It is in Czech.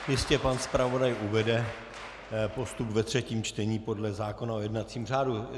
Jistě pan zpravodaj uvede postup ve třetím čtení podle zákona o jednacím řádu.